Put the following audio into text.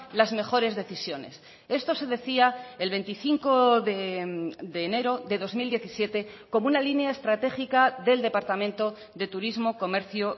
las mejores decisiones esto se decía el veinticinco de enero de dos mil diecisiete como una línea estratégica del departamento de turismo comercio